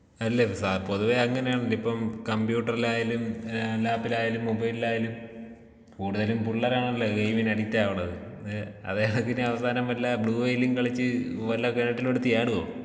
അല്ലാ പൊതുവേ അങ്ങനെയാണല്ലോ. ഇപ്പം കമ്പ്യൂട്ടറിലായാലും ലാപ്പിലായാലും മൊബൈലിലായാലും കൂടുതലും പിള്ളേരാണല്ലോ ഗെയിമിന് അഡിക്റ്റ് ആവുന്നത്. അതേ കണക്കിന് അവസാനം വല്ല ബ്ലൂ വെയിലും കളിച്ച് വല്ല കിണറ്റിലും എടുത്ത് ചാടോ?